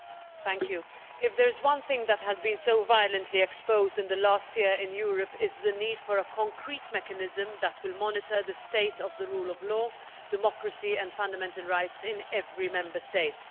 Mr President, if there is one thing that has been so violently exposed in the last year in Europe it is the need for a concrete mechanism that will monitor the state of the rule of law, democracy and fundamental rights in every Member State.